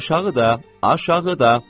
Aşağıda, aşağıda.